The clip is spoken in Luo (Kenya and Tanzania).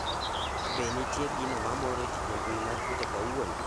be nitie gino ma moro jii e mbui mar twita kawuono